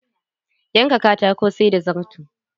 Yanka katako, sai da zarto.